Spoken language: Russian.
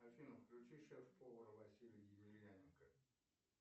афина включи шеф повара василия емельяненко